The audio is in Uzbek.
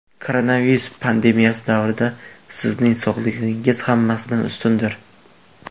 Koronavirus pandemiyasi davrida sizning sog‘lig‘ingiz hammasidan ustundir.